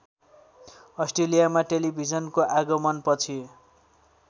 अस्ट्रेलियामा टेलिभिजनको आगमनपछि